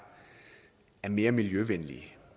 mere miljøvenlige